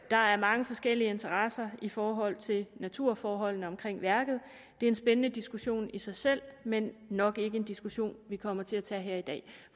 der er mange forskellige interesser i forhold til naturforholdene omkring værket det er en spændende diskussion i sig selv men nok ikke en diskussion vi kommer til at tage her i dag